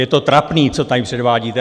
Je to trapný, co tady předvádíte.